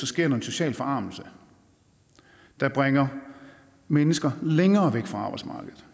sker en social forarmelse der bringer mennesker længere væk fra arbejdsmarkedet